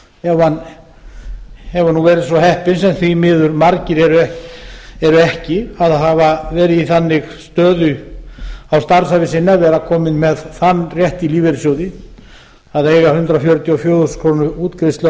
ef hann hefur verið svo heppinn sem því miður margir eru ekki að hafa verið í þannig stöðu á starfsævi sinni að vera komnir með þann rétt í lífeyrissjóði að eiga hundrað fjörutíu og fjögur þúsund krónur útgreiðslu á